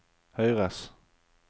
høyres